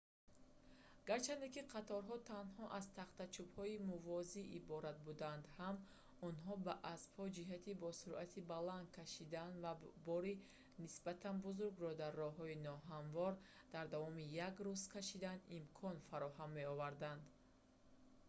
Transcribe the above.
гарчанде ки қатораҳо танҳо аз тахтачӯбҳои мувозӣ иборат буданд ҳам онҳо ба аспҳо ҷиҳати бо суръати баланд кашидан ва бори нисбатан бузургро дар роҳҳои ноҳамвор дар давоми як рӯз кашидан имкон фароҳам меоварданд